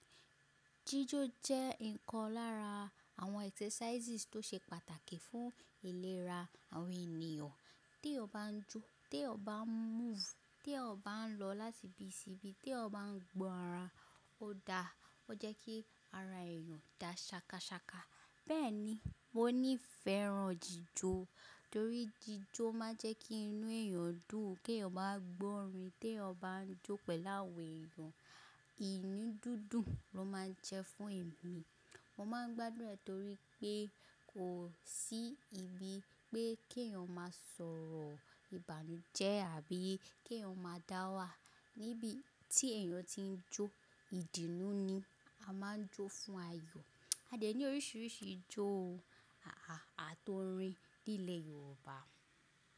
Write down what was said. Jíjó jẹ́ nǹkan lára àwọn exercises tó ṣe pàtàkì fún ìlera àwọn ènìyàn. Tí o bá jó, tí o bá move, tí o bá lọ láti ibi sí ibi, tí o bá gbọ́ ara, ó da, ó jẹ́ kí ara èèyàn dà ṣakasa. Bẹ́ẹ̀ni, mo nífẹ̀ẹ́ ran jíjó torí jíjó máa ń jẹ́ kí inú èèyàn dùn. Kí o bá gbọ́ orin tí o bá ń jó pẹ̀lú àwọn èèyàn, inudundun ló máa ń jẹ́ fún ẹ̀mí. Mo máa ń gbádùn rẹ̀ torí pé kò sí ibi pé kí èèyàn máa sọ̀rọ̀ ìbànújẹ́ àbí kí èèyàn máa dáwà níbi tí èèyàn ti ń jó. Ìdùnnú ni a máa ń jó fún ayọ̀. A dẹ ní oríṣiríṣi ijó o, a a àtò orin ní ilẹ̀ Yorùbá.